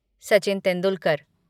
Sachin Tendulkar